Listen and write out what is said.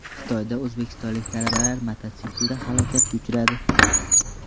Xitoyda o‘zbekistonlik talabalar mototsiklda halokatga uchradi.